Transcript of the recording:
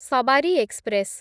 Sabari express